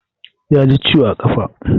Ya ji ciwo a ƙafa